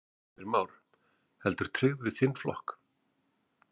Heimir Már: Heldur tryggð við þinn flokk?